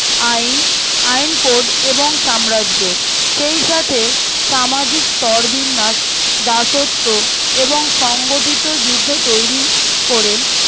আইন আইকোর এবং সাম্রাজ্য সেই সাথে সামাজিক স্তর বিন্যাস দাসত্ব এবং সংগঠিত যুদ্ধ তৈরী করে